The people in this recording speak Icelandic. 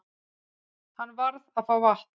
Hann varð að fá vatn.